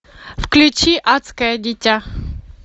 включи адское дитя